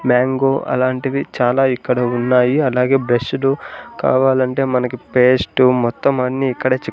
mango అలాంటివి చాలా ఇక్కడ ఉన్నాయి అలాగే బ్రష్షులు కావాలంటే మనకి పేస్టు మొత్తం అన్ని ఇక్కడే చిక్ --